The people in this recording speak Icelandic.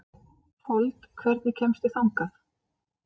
Fold, hvernig kemst ég þangað?